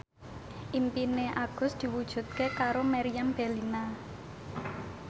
impine Agus diwujudke karo Meriam Bellina